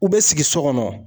U bɛ sigi so kɔnɔ.